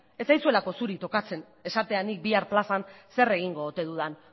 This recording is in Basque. ez zaizuelako zuri tokatzen esatea nik bihar plazan zer egingo ote dudan